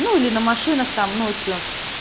ну или на машинах там ночью